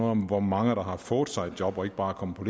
om hvor mange der har fået sig et job og ikke bare er kommet på